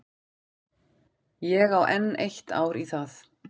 Ég á enn eitt ár í það.